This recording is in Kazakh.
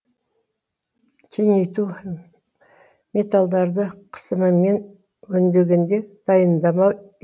кеңейту металдарды қысымымен өндегенде дайындама